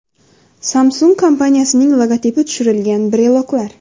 Samsung kompaniyasining logotipi tushirilgan breloklar.